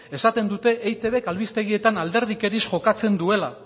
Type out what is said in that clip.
esaten dute eitbk albistegietan alderdikeriz jokatzen duela